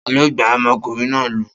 Ta ló gbá ọmọkùnrin náà lù?